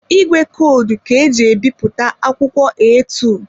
Ìgwè kọdụ ka eji ebipụta akwụkwọ eatu.